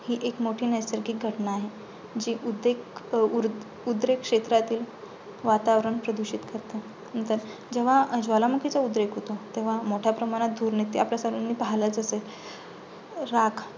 हे एक मोठी नैसर्गिक घटना आहे. जी उदेक अं उरदेक उद्रेक क्षेत्रातील वातावरण प्रदूषित करते. नंतर जेव्हा ज्वालामुखीचा उद्रेक होतो, तेव्हा मोठ्या प्रमाणत धूर निघते आपण पाहलचं असेल राख.